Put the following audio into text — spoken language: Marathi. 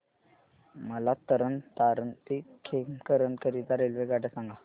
मला तरण तारण ते खेमकरन करीता रेल्वेगाड्या सांगा